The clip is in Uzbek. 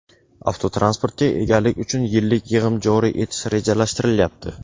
Avtotransportga egalik uchun yillik yig‘im joriy etish rejalashtirilyapti.